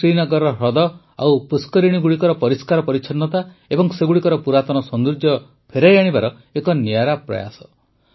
ଏହା ଶ୍ରୀନଗରର ହ୍ରଦ ଓ ପୁଷ୍କରିଣୀଗୁଡ଼ିକର ପରିଷ୍କାର ପରିଚ୍ଛନ୍ନତା ଏବଂ ସେଗୁଡ଼ିକର ପୁରାତନ ସୌନ୍ଦର୍ଯ୍ୟ ଫେରାଇ ଆଣିବାର ଏକ ନିଆରା ପ୍ରୟାସ